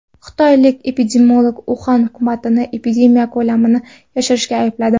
Xitoylik epidemiolog Uxan hukumatini epidemiya ko‘lamini yashirishda aybladi.